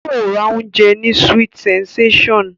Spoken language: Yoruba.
Yóò ra oúnjẹ ní sweet sensation